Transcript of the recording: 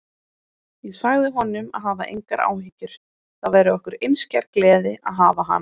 Ég sagði honum að hafa engar áhyggjur, það væri okkur einskær gleði að hafa hana.